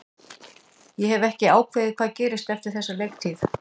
Ég hef ekki ákveðið hvað gerist eftir þessa leiktíð.